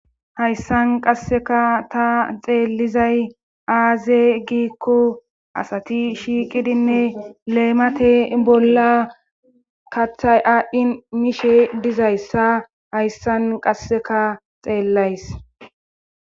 hayssan qasseka ta xeellizay aaze giikko asati shiiqidinne leemate bolla kaththay aadhdhin miishe dizayssa hayssan qasseka xeellays